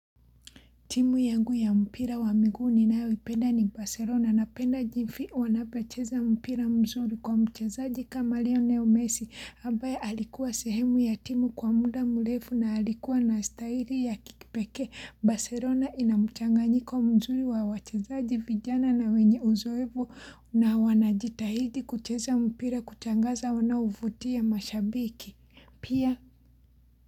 Timu yangu ya mpira wa miguu ninayoipenda ni Baselona napenda jimfi wanapacheza mpira mzuri kwa mchezaji kama Lionel Messi ambaye alikuwa sehemu ya timu kwa muda mrefu na alikuwa na staili ya kikipeke Baselona ina mchanganiko mzuri wa wachezaji vijana na wenye uzoevu na wanajitahidi kucheza mpira kutangaza wanaovutia mashabiki pia.